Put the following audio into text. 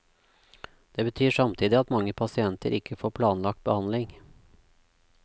Det betyr samtidig at mange pasienter ikke får planlagt behandling.